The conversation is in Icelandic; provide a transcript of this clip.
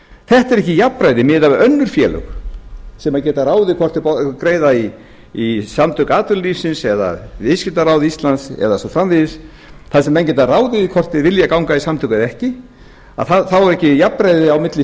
þetta er ekki jafnræði miðað við önnur félög sem geta ráðið hvort þau greiða í samtök atvinnulífsins eða viðskiptaráð íslands eða og svo framvegis þar sem menn geta ráðið því hvort þeir vilja ganga í samtök eða ekki þá er ekki jafnræði á milli